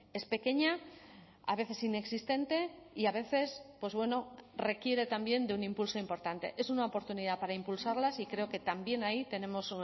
es pequeña a veces inexistente y a veces pues bueno requiere también de un impulso importante es una oportunidad para impulsarlas y creo que también ahí tenemos